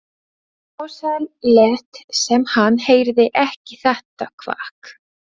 Ársæll lét sem hann heyrði ekki þetta kvak.